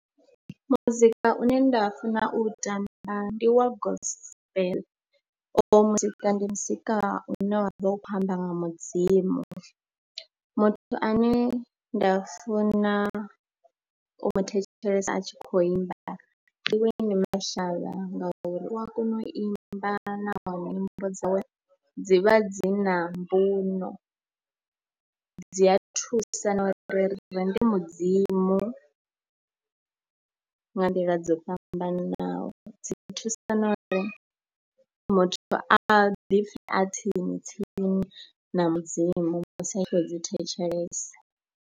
Muzika une nda funa u tamba ndi wa Gospel, oyu muzika ndi muzika une wa vha u khou amba nga Mudzimu, muthu ane nda funa u mu thetshelesa a tshi khou imba Winnie Mashaba ngauri u a kona u imba nahone nyimbo dzawe dzi vha dzi na mbuno. Dzi a thusa na uri rirende Mudzimu nga nḓila dzo fhambananaho. Dzi ḓo thusa na uri muthu a ḓipfhe a tsini tsini na mudzimu musi a tshi khou dzi thetshelesa.